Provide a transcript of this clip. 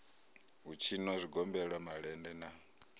u tshinwa zwigombela malende na